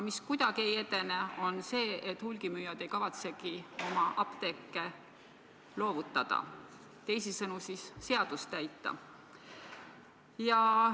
Aga hulgimüüjad ei kavatsegi oma apteeke loovutada, teisisõnu seadust täita, see kuidagi ei edene.